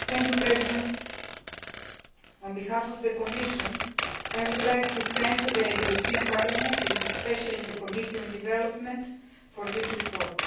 Mr President, on behalf of the Commission, I would like to thank the European Parliament, and especially the Committee on Development, for this report.